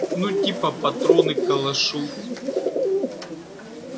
ну типа патроны к калашу